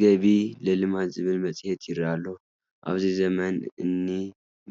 ገቢ ለልማት ዝብል መፅሄት ይርአ ኣሎ፡፡ ኣብዚ ዘመን እኒ